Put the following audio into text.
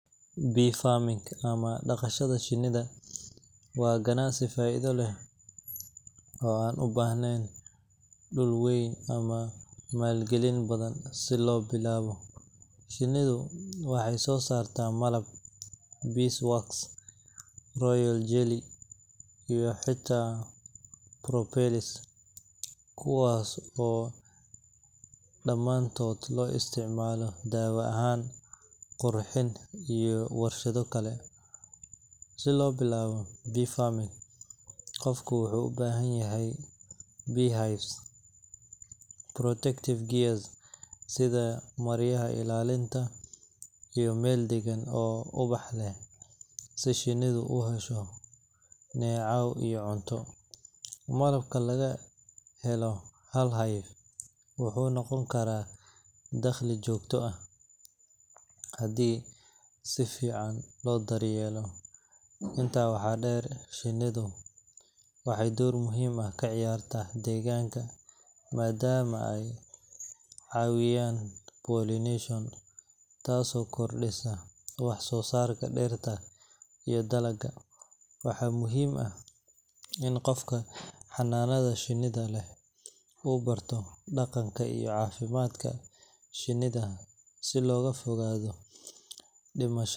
Bee farming ama dhaqashada shinnida waa ganacsi faa’iido leh oo aan u baahnayn dhul weyn ama maalgelin badan si loo bilaabo. Shinnidu waxay soo saartaa malab, beeswax, royal jelly, iyo xataa propolis, kuwaas oo dhamaantood loo isticmaalo dawo ahaan, qurxin, iyo warshado kale. Si loo bilaabo bee farming, qofku wuxuu u baahan yahay beehives, protective gear sida maryaha ilaalinta, iyo meel deggan oo ubax leh si shinnidu u hesho neecaw iyo cunto. Malabka laga helo hal hive wuxuu noqon karaa dakhli joogto ah haddii si fiican loo daryeelo. Intaa waxaa dheer, shinnidu waxay door muhiim ah ka ciyaartaa deegaanka maadaama ay caawiyaan pollination taasoo kordhisa waxsoosaarka dhirta iyo dalagga. Waxaa muhiim ah in qofka xanaanada shinnida leh uu barto dhaqanka iyo caafimaadka shinnida si looga fogaado dhimasha.